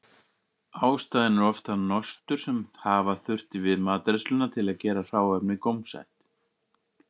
Ástæðan er oft það nostur sem hafa þurfti við matreiðsluna til að gera hráefnið gómsætt.